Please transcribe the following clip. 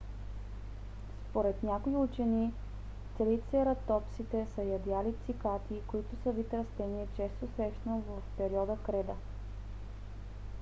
според някои учени трицератопсите са ядяли цикади които са вид растение често срещано в периода креда